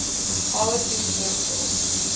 howard hughes medical